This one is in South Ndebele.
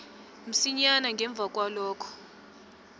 msinyana ngemva kwalokhoke